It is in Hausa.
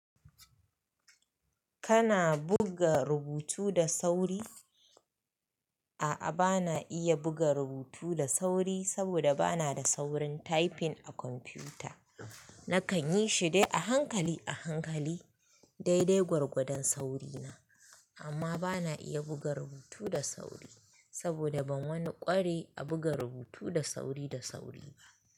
Kana buga rubutu da sauri? A'a, bana iya buga rubutu da sauri saboda bana da saurin typing a kwamfuta. Nakan yi shi dai a hankali a hankali, daidai gwargwadon sauri na. Amma bana iya buga rubutu da sauri saboda ban wani ƙware a buga rubutu da sauri da sauri ba.